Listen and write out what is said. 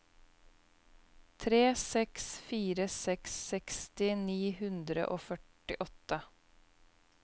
tre seks fire seks seksti ni hundre og førtiåtte